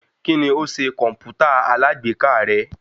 Kíni ó ṣe kọ̀mpútà alágbèéká rẹ?